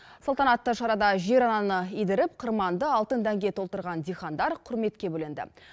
салтанатты шарада жер ананы идіріп қырманды алтын дәнге толтырған диқандар құрметке бөленді